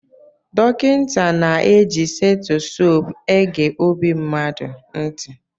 Dọkịta na-eji seitosope ege ọbi mmadụ ntị.